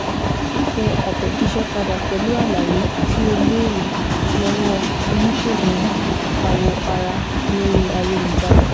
Tẹ àtẹ̀jíṣẹ́ padà pẹ̀lú àwọn àlàyé tí o béèrè lọ́wọ́ oníṣègùn awọ ara lórí ayélujára